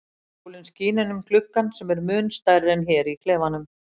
Sólin skín inn um gluggann sem er mun stærri en hér í klefanum.